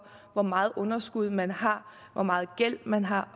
hvor meget underskud man har hvor meget gæld man har